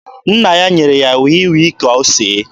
Nna ya nyere ya wii wii ka o see.